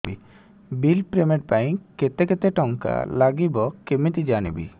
bill payment ପାଇଁ କେତେ କେତେ ଟଙ୍କା ଲାଗିବ କେମିତି ଜାଣିବି